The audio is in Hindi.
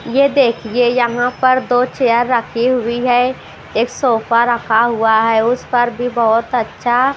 यह देखिए यहां पर दो चेयर रखी हुई है एक सोफा रखा हुआ है उस पर भी बहुत अच्छा--